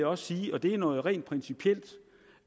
også sige og det er noget rent principielt